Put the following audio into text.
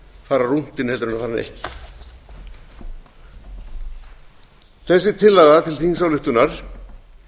fara rúntinn en að fara hann ekki þessi tillaga til þingsályktunar